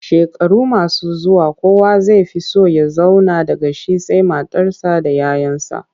Shekaru masu zuwa kowa zai fi so ya zauna daga shi sai matarsa da 'ya 'yansa.